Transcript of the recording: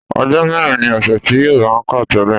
Ọjọ́ mẹ́rin ni ọ̀sẹ̀ tí Yorùbá ń kà tẹ́lẹ̀